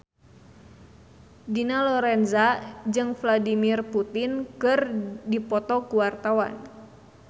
Dina Lorenza jeung Vladimir Putin keur dipoto ku wartawan